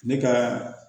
Ne ka